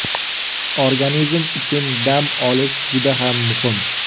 Organizm uchun dam olish juda ham muhim.